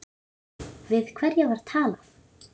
Við hverja var talað?